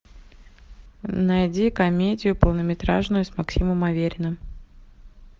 найди комедию полнометражную с максимом авериным